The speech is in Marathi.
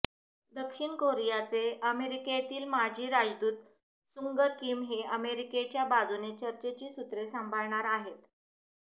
दक्षिण कोरियाचे अमेरिकेतील माजी राजदूत सुंग किम हे अमेरिकेच्या बाजूने चर्चेची सूत्रे सांभाळणार आहेत